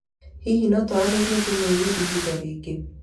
Hihi no tũaranĩrie thimu-inĩ ihinda rĩngĩ?